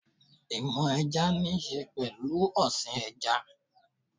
Ìmọ̀ ẹja níṣe pẹ̀lú ọ̀sìn ẹja